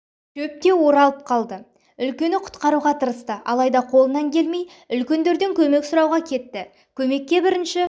шөпте оралып қалды үлкені құтқаруға тырысты алайда қолынан келмей үлкендерден көмек сұрауға кетті көмекке бірінші